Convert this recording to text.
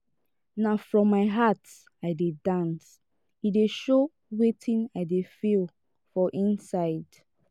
na from my heart i dey dance e dey show wetin i dey feel for inside.